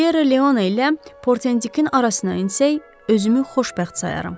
Siyerra Leona ilə Portendikin arasına insək, özümü xoşbəxt sayaram.